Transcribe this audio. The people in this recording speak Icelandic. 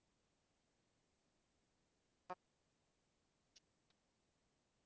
Tesla var þá aðeins tæplega fertugur.